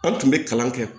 An tun bɛ kalan kɛ